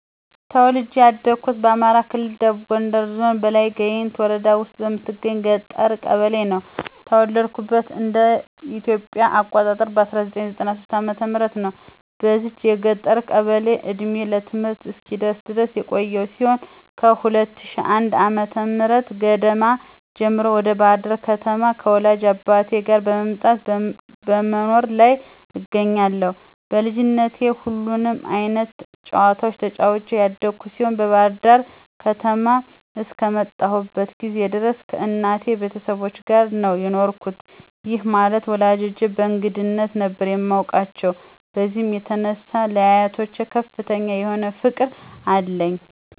ተወልጄ ያደኩት በአማራ ክልል ደቡብ ጎንደር ዞን በላይ ጋይንት ወረዳ ውስጥ በምትገኝ የገጠር ቀበሌ ነው። የተወለድኩትም እንደ ኢትዮጵያ አቆጣጠር በ1993 ዓ/ም ነው። በዚች የገጠር ቀበሌ እድሜዬ ለትምህርት እስኪደርስ ድረስ የቆየው ሲሆን ከ2001 ዓ/ም ገደማ ጀምሮ ወደ ባህር ዳር ከተማ ከወላጅ አባቴ ጋር መምጣት በመኖር ላይ እገኛለሁ። በልጅነቴ ሁሉንም አይነት ጨዋታዎች ተጫዉቼ ያደኩ ሲሆን ባህር ዳር ከተማ አስከመጣሁበት ጊዜ ድረስ ከእናቴ ቤተሰቦች ጋር ነው የኖርኩት፤ ይህ ማለት ወላጆቼን በእንግድነት ነበር የማቃቸው። በዚህም የተነሳ ለአያቶች ከፍተኛ የሆነ ፍቅር አለኝ።